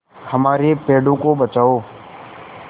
हमारे पेड़ों को बचाओ